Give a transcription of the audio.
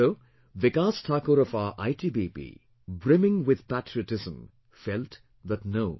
So, Vikas Thakur of our ITBP, brimming with patriotism felt that no